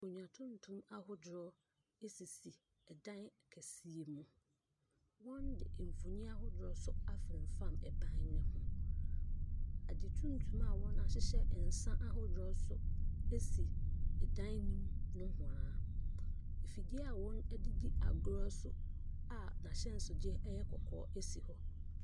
Akondwa tuntum ahodoɔ esisi ɛdan kɛseɛ mu. Wɔn de mfoni ahodoɔ so afonfam ɛdan no ho. Ade tuntum a wɔn ahyehyɛ nsa ahodoɔ wɔ so esi ɛdan no mu nohwaa. Afidie a wɔn de di agorɔ a n'ahyɛnso deɛ ɛyɛ kɔkɔɔ esi hɔ.